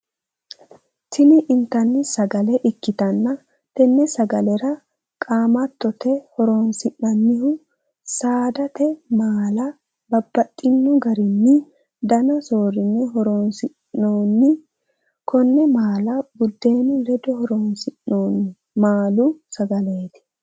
Tinni intanni sagale ikitanna tenne sagalera qaammattote horoonsi'nonnihu saadate maala babbaxino garinni danna soorine horoonsi'noonni. Kone maala budeenu ledo horoonsi'noonni maalu sagaleeti.